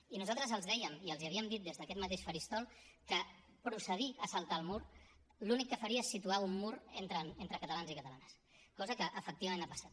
i nosaltres els dèiem i els havíem dit des d’aquest mateix faristol que procedir a saltar el mur l’únic que faria és situar un mur entre catalans i catalanes cosa que efectivament ha passat